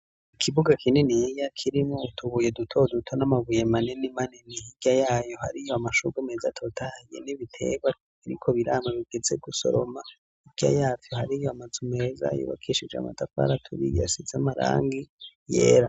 Ikibuga kininiya kirimwo utubuye dutoduto n'amabuye manini manini hirya yayo hariyo amashurwe meza atotahaye n'ibitebwa biriko birama bigeze gusoroma hirya yavyo hariyo amazu meza yubakishije amatafari aturiye asize amarangi yera.